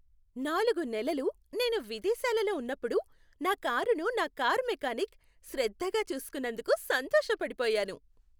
నాలుగు నెలలు నేను విదేశాలలో ఉన్నప్పుడు నా కారును నా కారు మెకానిక్ శ్రద్ధగా చూసుకున్నందుకు సంతోషపడిపోయాను.